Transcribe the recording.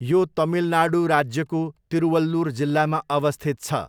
यो तमिलनाडु राज्यको तिरुवल्लुर जिल्लामा अवस्थित छ।